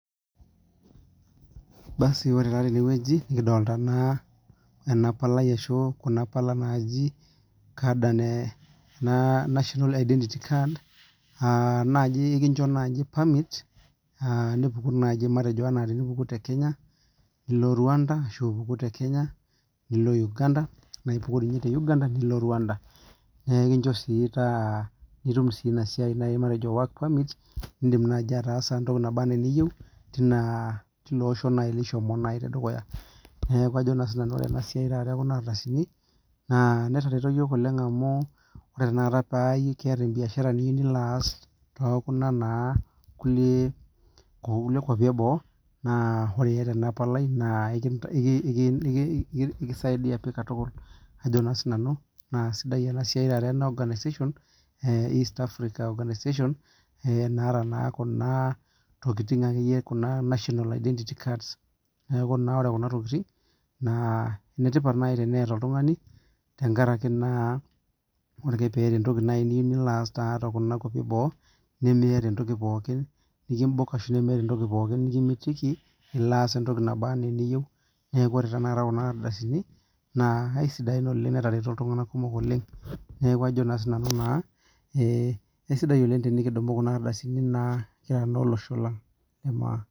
Basi ore taa tenewueji nikidolta naa enapalai ashu kunapala naji national identity card naji ekinjo nai permit enimpamgu tekenya nilo Rwanda ashu ipuku te rwanda nilo Uganda nekincho si nitum inasia matejo work permit nindim ataasa entoki naba ana eniyieu tiloosho lishomo neaku ajo sinanu ore enasia ekuna ardasini na etareto yiok oleng amu ore tanakata teneeta biashara niyieu nilo aas tokuna kukie kwapi eboo na ore iata enapalai na esidai pii katukul ajobna sinanu na sidai enasiai east African organisation naata naa kuna tokikitin national identity card neakubore kuna tokitin naa netipat teneeta oltungani ore na nai teneeta entoki nilo aas tonkwapi eboo nilo aas miata entoki pooki nikimitiki ilo aas entoki poki naba ana eniyeiu neaku ore tanakaokuna ardasini na aisidain oleng neaku aisidai oleng enikidumubkuna ardasini kira olosho lang le maa.